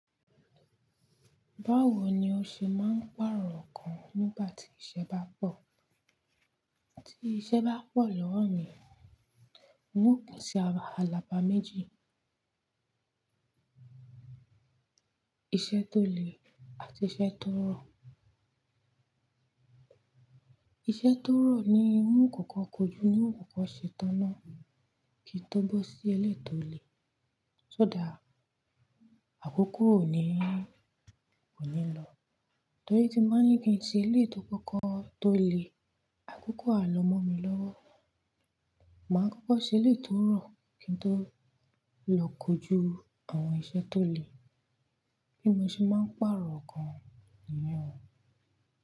Báwo ni o ṣe máa ń pàrọ̀ ǹkan nígbà tí iṣẹ́ bá pọ̀? Tí iṣẹ́ bá pọ̀ lọ́wọ́ mi, n ó pín ṣi alaba méjì. Iṣẹ́ tó le àti iṣẹ́ tó rọ̀. Iṣẹ́ tó rọ̀ ni mú kòkò kójú, ní kòkò ṣe tánná, kí n tó bọ́ sí ilé tó le. Só dà á, àkókò ò ní, kò ní lọ. Torí tí máa ń gbé ìsinmi sí ilé tó kòkò tó le, àkókò á lọmọ mi lọ́wọ́. Màá kókó ṣẹ ilé tó rọ̀ kí n tó lọ kójú àwọn iṣẹ́ tó le. Bí mo ṣe máa ń pàrọ̀ ǹkan nìyẹn.